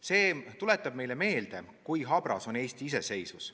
See tuletab meile meelde, kui habras on Eesti iseseisvus.